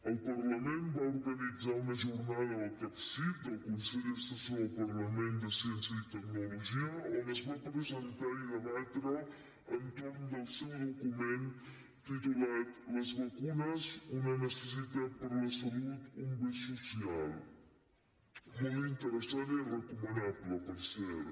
el parlament va organitzar una jornada al capcit el consell assessor del parlament de ciència i tecnologia on es va presentar i debatre entorn del seu document titulat les vacunes una necessitat per a la salut un bé social molt interessant i recomanable per cert